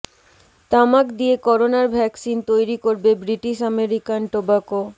তামাক দিয়ে করোনার ভ্যাকসিন তৈরি করবে ব্রিটিশ আমেরিকান টোবাকো